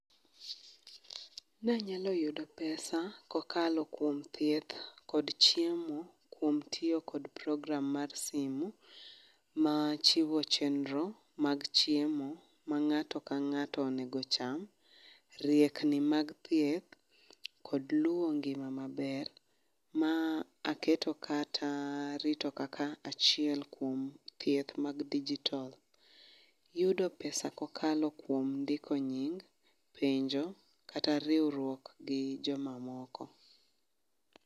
Nanyalo yudo pesa kokalo kuom thieth kod chiemo, kuom tiyo kod program mar simu, ma chiwo chenro mag chiemo ma ng'ato ka ng'ato onego ocham, riekni mag thieth kod luwo ngima maber. Ma aketo kata arito kaka achiel kuom thieth mag digital. Yudo pesa kokalo kuom ndiko nying, penjo, kata riwruok gi jomamoko